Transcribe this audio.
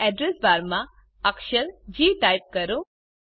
હવે એડ્રેસ બાર માં અક્ષર જી ટાઇપ કરો